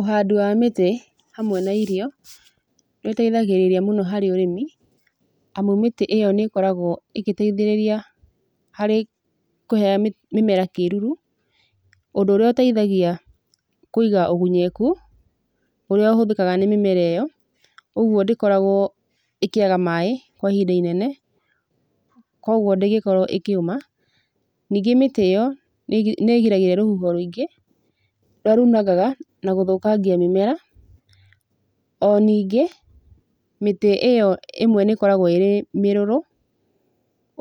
Ũhandi wa mĩtĩ hamwe na irio nĩũteithagĩrĩria mũno harĩ ũrĩmi amu mĩtĩ ĩyo nĩ ĩkoragwo ĩgĩteithĩrĩria harĩ kũhe mĩ, mĩmera kĩruru, ũndũ ũrĩa ũteithagia kwĩiga ũgunyeku ũrĩa ũhũthĩka nĩ mĩmera ĩyo, ũgwo ndĩkoragwo ĩkĩaga maaĩ kwa ihinda inene kwogwo ndĩngĩkorwo ĩkĩũma. Ningĩ mĩtĩ ĩyo nĩĩgiragia rũhuho rwĩngĩ rũrĩa runangana na gũthũkangia mĩmera. O ningĩ mĩtĩ ĩyo ĩmwe nĩkoragwo ĩrĩ mĩrũrũ